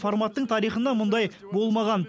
форматтың тарихында мұндай болмаған